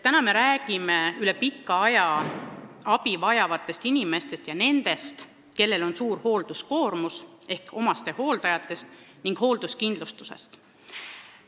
Täna me räägime üle pika aja abi vajavatest inimestest ja nendest, kellel on suur hoolduskoormus, ehk omastehooldajatest ning hoolduskindlustusest.